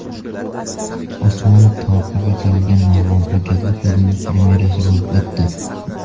Osmon toqiga qo‘yilgan narvon” hujjatli filmi premyerasi bo‘lib o‘tdi.